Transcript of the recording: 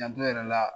Janto yɛrɛ la